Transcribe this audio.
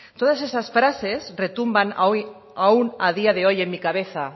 todas esas frases retumban aún a día de hoy en mi cabeza